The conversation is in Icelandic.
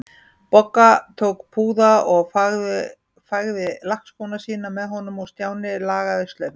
Bogga tók púða og fægði lakkskóna sína með honum og Stjáni lagaði slaufuna.